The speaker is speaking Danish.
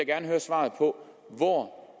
ja høre svaret på hvor